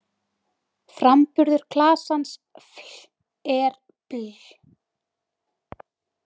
Framburður klasans-fl- er-bl-.